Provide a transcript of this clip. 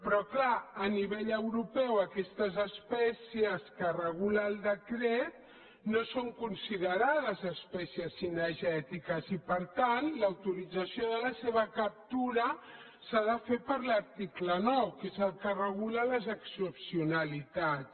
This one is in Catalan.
però clar a nivell europeu aquestes espècies que regula el decret no són considerades espècies cinegètiques i per tant l’autorització de la seva captura s’ha de fer per l’article nou que és el que en regula les excepcionalitats